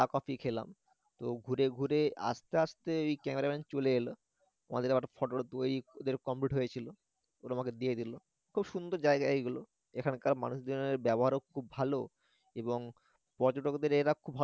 coffee খেলাম তো ঘুরে ঘুরে আসতে আসতে ঐ cameraman চলে এল আমাদের আবার photo টা ওদের complete হয়েছিল ওরা আমাকে দিয়ে দিলখুব সুন্দর জায়গা এইগুলো এখানকার মানুষজনদের ব্যবহারও খুব ভালো এবং পর্যটকদের এরা